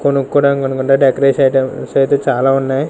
కొనుకోవడానికి అనుకుంటే decoration items అయితే చాలా ఉన్నాయి.